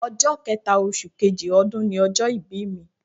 Ọjọ́ kẹẹ̀ta oṣù kejì ọdún ni ọjọ́ ìbí mi